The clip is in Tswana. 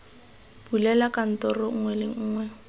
bulela kantoro nngwe le nngwe